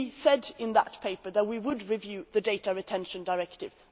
We said in that paper that we would review the Data Retention Directive.